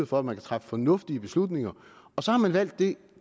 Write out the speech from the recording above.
for at man kan træffe fornuftige beslutninger og så har man valgt det